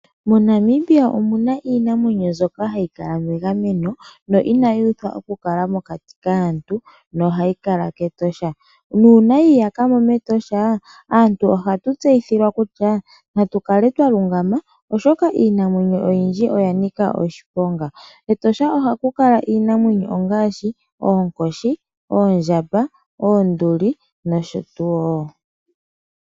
MoNamibia omuna iinamwenyo mbyoka hayi kala megameno no inayi uthwa oku kala mokati kaantu nohayi kala kEtosha. Uuna yi iyaka mo mEtosha aantu ohatu tseyithilwa kutya natu kale twalungama oshoka iinamwenyo oyindji oya nika oshiponga. KEtosha ohaku kala iinamwenyo ngaashi oonkoshi, oondjamba, oonduli nosho tuu.